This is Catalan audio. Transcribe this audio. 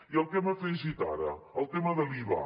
i el que hem afegit ara el tema de l’iva